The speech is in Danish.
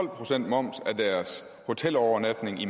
procent moms af deres hotelovernatning i